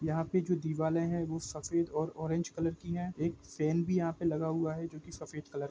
यहाँ पे जो दीवाल ऐ है वो सफ़ेद और ओरेंज कलर की है एक सेन भी यहा पे लगा हुवा है जो की सफ़ेद कलर --